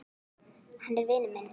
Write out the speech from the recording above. Hann er vinur minn